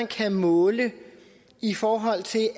kan måles i forhold til